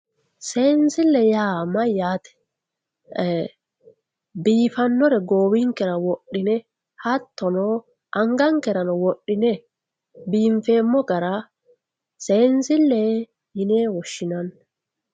seensille yaa mayaate biifannore goowinkera woxxine hattono angankerano woxxine biinfeemo gara seensille yine woshshinanni